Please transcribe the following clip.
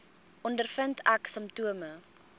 ondervind ek simptome